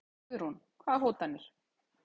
Guðrún: Hvaða hótanir?